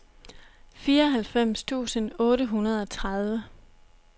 fireoghalvfems tusind otte hundrede og tredive